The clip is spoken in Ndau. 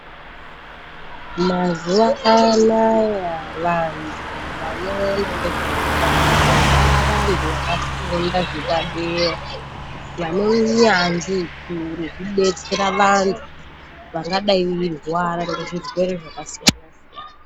Mazuwa anaya, vantu vanoona ngezveutano vavantu vakafunda zvepadera vane unyanzvi ukuru hwekudetsera vantu vangadai veirwara ngezvirwere zvakasiyana-siyana.